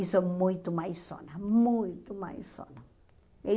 E sou muito mãezona, muito mãezona. E